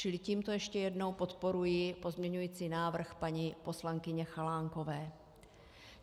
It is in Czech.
Čili tímto ještě jednou podporuji pozměňovací návrh paní poslankyně Chalánkové.